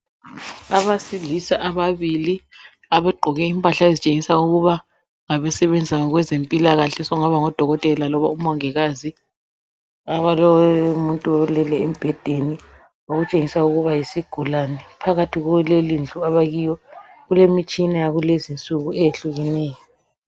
Abesilisa ababili abagqoke impahla ezitshengisa ukuba ngabasebenza ngokwezempilakahle sokungaba ngodokotela loba omongikazi kulomuntu olele embhedeni okutshengisa ukuba yisigulane phakathi kwelelindlu abakilo kulemitshina yakulezi nsuku eyehlukeneyo